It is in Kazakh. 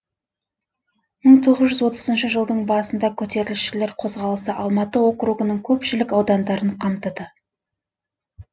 мың тоғыз жүз отызыншы жылдың басында көтерілісшілер қозғалысы алматы округінің көпшілік аудандарын қамтыды